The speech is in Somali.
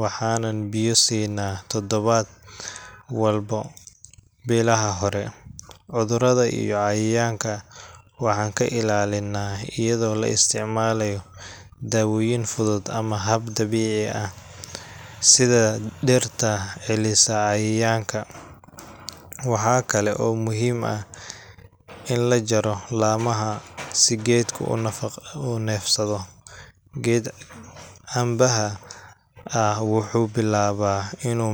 waxaanan biyo siinnaa toddobaad walba bilaha hore. Cudurrada iyo cayayaanka, waxaan ka ilaalinaa iyadoo la isticmaalo daawooyin fudud ama hab dabiici ah, sida dhirta celisa cayayaanka. Waxa kale oo muhiim ah in la jaro laamaha si geedku u neefsado. Geed cambaha ah wuxuu bilaabaa inuu.